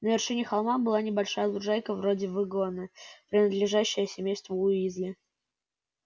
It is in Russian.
на вершине холма была небольшая лужайка вроде выгона принадлежащая семейству уизли